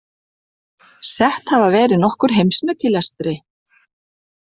Sett hafa verið nokkur heimsmet í lestri.